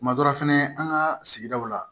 Kuma dɔ la fɛnɛ an ka sigidaw la